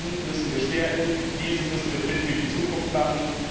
Diesen müssen wir stärken, diesen müssen wir fit für die Zukunft machen!